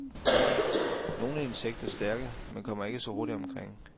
Nogle insekter stærke, men kommer ikke så hurtigt omkring.